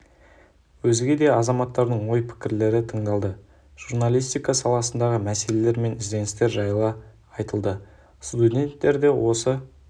өзге де азаматтардың ой-пікірлері тыңдалды журналистика саласындағы мәселелер мен ізденістер жайы айтылды студенттер де осы